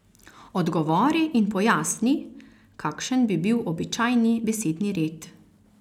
Odgovori in pojasni, kakšen bi bil običajni besedni red.